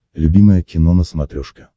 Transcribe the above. любимое кино на смотрешке